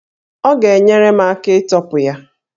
Ọ ga-enyere m aka ịtọpụ ya